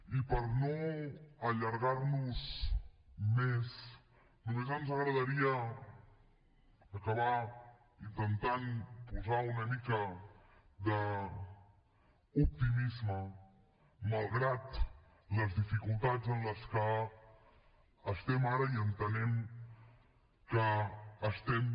i per no allargar nos més només ens agradaria acabar intentant posar una mica d’optimisme malgrat les dificultats en què estem ara i entenem que hi estem